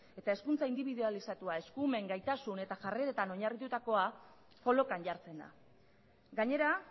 eta hezkuntza indibidualizatua eskumen gaitasun eta jarreretan oinarritutakoa kolokan jartzen da gainera